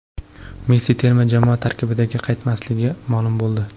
Messi terma jamoa tarkibiga qaytmasligi ma’lum bo‘ldi.